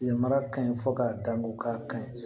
Yamaruya ka ɲi fo k'a dan ko k'a ka ɲi